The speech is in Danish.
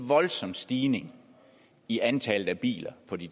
voldsom stigning i antallet af biler på de